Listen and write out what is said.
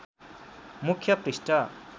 मुख्य पृष्ठ